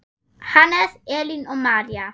Hannes, Elín og María.